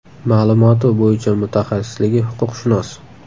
Ma’lumoti bo‘yicha mutaxassisligi huquqshunos.